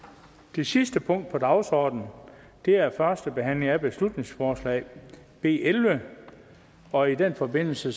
det sidste punkt på dagsordenen er første behandling af beslutningsforslag b elleve og i den forbindelse